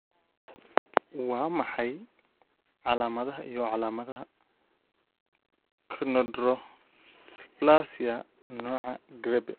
Waa maxay calaamadaha iyo calaamadaha Chondrodysplasia, nooca Grebe?